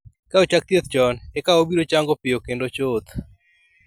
Ka ochak thieth chon, eka obiro chango piyo kendo chuth.